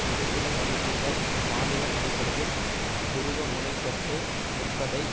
ஒரு சில பகுதிகள் மாநிலம் அடிப்படையில் துருவமுனைப்பட்டு நிற்பதை